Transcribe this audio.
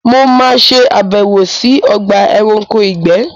Mo ma ṣe àbẹ̀wò sí Ogba eranko ìgbé